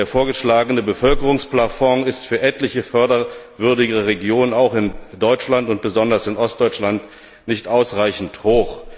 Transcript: Der vorgeschlagene Bevölkerungsplafond ist für etliche förderwürdige Regionen auch in Deutschland und besonders in Ostdeutschland nicht ausreichend hoch.